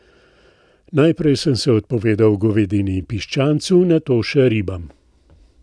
Najprej sem se odpovedal govedini in piščancu, nato še ribam.